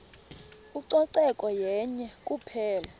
ucoceko yenye kuphela